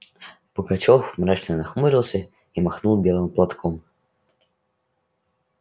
пугачёв мрачно нахмурился и махнул белым платком